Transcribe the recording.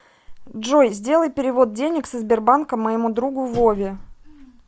джой сделай перевод денег со сбербанка моему другу вове